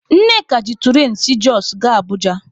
Nneka ji turain si Jọsụ gaa Abụja.